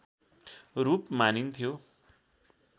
रूप मानिन्थ्यो